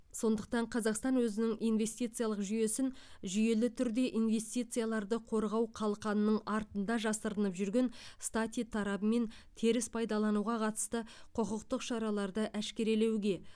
сондықтан қазақстан өзінің инвестициялық жүйесін жүйелі түрде инвестицияларды қорғау қалқанының артында жасырынып жүрген стати тарабымен теріс пайдалануға қатысты құқықтық шараларды әшкерелеуге